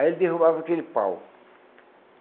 Aí ele derrubava aquele pau.